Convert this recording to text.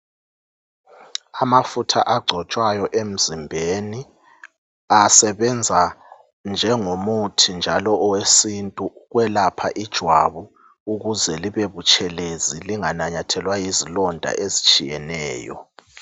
Amafutha agcotshwayo emzimbeni, asebenza njengomuthi njalo owesintu ukwelapha ijwabu ukuze libe butshelezi ukuze lingananyathelwa yizilonda ezitshiyeneyo.